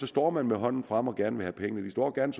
står man med hånden fremme og vil gerne have penge de står gerne